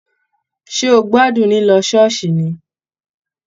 Ṣé o gbádùn lilọ ṣooṣi ni.